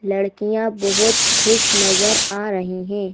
लड़कियां बहुत खुश नजर आ रही हैं।